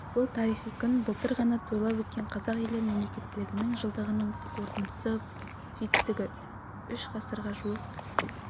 бұл тарихи күн былтыр ғана тойлап өткен қазақ елі мемлекеттілігінің жылдығының қорытынды жетістігі үш ғасырға жуық